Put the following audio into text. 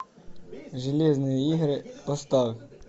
железные игры поставь